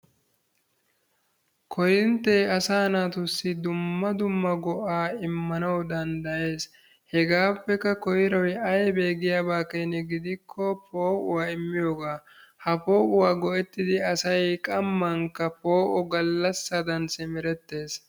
Korinttee asaa naatussi dumma dumma go"aa immanawu danddayees. Hegaappekka koyroy aybee giyaaba keena gidikko po"uwaa immiyoogaa. Ha po"uwaa go"ettidi asay qammankka poo"o galaasadaan simmerettees.